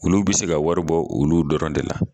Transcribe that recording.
Olu bɛ se ka wari bɔ olu dɔrɔn de la